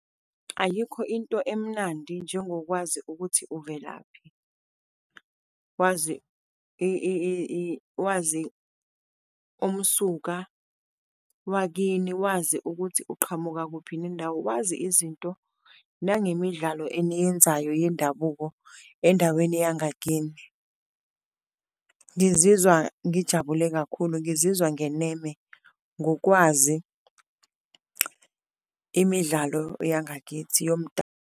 Ayikho into emnandi njengokwazi ukuthi velaphi, wazi wazi umsuka wakini, waze ukuthi uqhamuka kuphi nendawo, wazi izinto nangemidlalo eniyenzayo yendabuko endaweni yangakini. Ngizizwa ngijabule kakhulu, ngizizwa ngeneme ngokwazi imidlalo yangakithi .